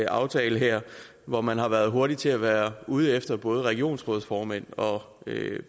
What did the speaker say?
aftale her hvor man har været hurtig til at være ude efter både regionsrådsformænd og